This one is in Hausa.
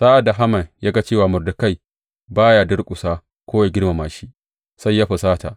Sa’ad da Haman ya ga cewa Mordekai ba ya durƙusa ko yă girmama shi, sai ya fusata.